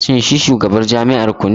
Shin shi ne shugabar jami'ar ku ne?